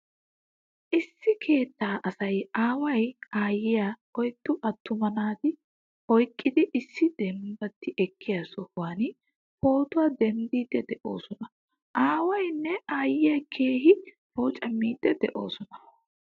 Issi keetta asay aaway aayiyaa oyddu attumaa naata oyqqidi issi dembati ekkiyaa sohuwan pootuwaa denddidi deosona. Aawaynne aayiya keehin poocamaidi deosona.